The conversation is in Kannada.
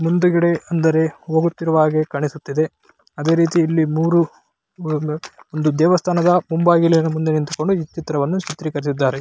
ಮುಂದುಗಡೆ ಅಂದರೆ ಹೋಗುತ್ತಿರುವ ಹಾಗೆ ಕಾಣಿಸುತ್ತ ಇದೆ ಅದೇ ರೀತಿ ಇಲ್ಲಿ ಮೂರೂ ಅಂದರೆ ಒಂದು ದೇವಸ್ಥಾನದ ಮುಂಬಾಗಿಲ ಮುಂದೆ ನಿಂತುಕೊಂಡು ಈ ಚಿತ್ರವನ್ನು ಚಿತ್ರಿಸಿದ್ದಾರೆ.